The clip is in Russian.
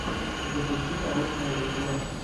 запусти научное видео